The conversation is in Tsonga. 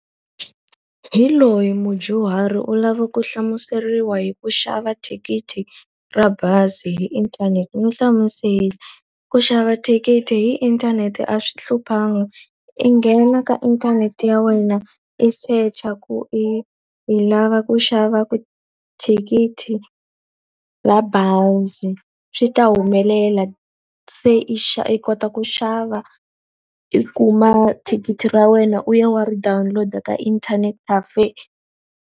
Hi loyi mudyuhari u lava ku hlamuseriwa hi ku xava thikithi ra bazi hi inthanete, n'wi hlamusele. Ku xava thikithi hi inthanete a swi hluphangi, i nghena ka inthanete ya wena i search-a ku i i lava ku xava thikithi ra bazi. Swi ta humelela se i i kota ku xava, i kuma thikithi ra wena, u ya u ya ri download-a ka internet cafe.